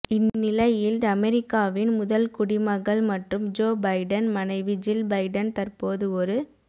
இந்நிலையில் அமெரிக்காவின் முதல்குடிமகள் மற்றும் ஜோ பைடன் மனைவி ஜில் பைடன் தற்போது ஒரு